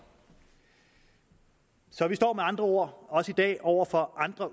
så vi står med andre ord i dag over for andre